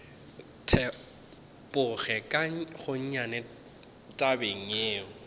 tepoge ka gonnyane tabeng yeo